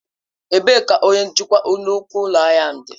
Ebee ka onye njikwa nnukwu ụlọ ahịa dị?